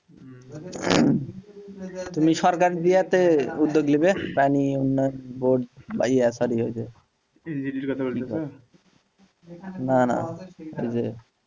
তুমি সরকারের ইয়েতে উদ্যোগ নিবে বা ইয়া sorry ওই যে না না ওই যে